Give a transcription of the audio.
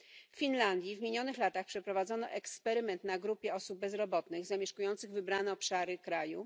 W Finlandii w minionych latach przeprowadzono eksperyment na grupie osób bezrobotnych zamieszkujących wybrane obszary kraju.